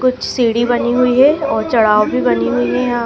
कुछ सीढ़ी बनी हुई है और चढ़ाव भी बनी हुई है यहां--